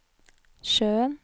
sjøen